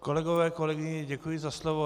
Kolegové, kolegyně, děkuji za slovo.